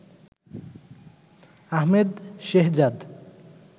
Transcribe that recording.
Ahmed Shehzad